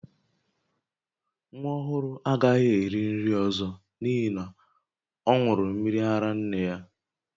Nwa ọhụrụ a agaghị eri nri ọzọ n'ihi na ọ ṅụrụ mmiri ara nne ya